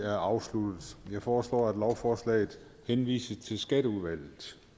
er afsluttet jeg foreslår at lovforslaget henvises til skatteudvalget